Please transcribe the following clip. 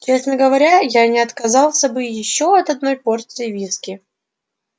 честно говоря я не отказался бы ещё от одной порции виски